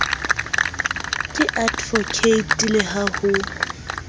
ke advocate le ha ho